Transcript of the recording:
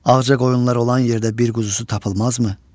Ağca qoyunlar olan yerdə bir quzusu tapılmazmı?